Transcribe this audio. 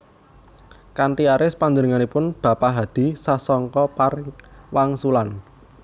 Kanthi aris panjenenganipun bapa hadi sasongko paring wangsulan